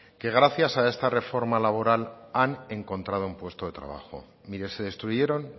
que gracias a esta reforma laboral han encontrado un puesto de trabajo mire se destruyeron